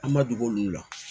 An ma dogo olu la